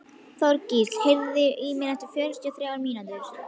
Þorgísl, heyrðu í mér eftir fjörutíu og þrjár mínútur.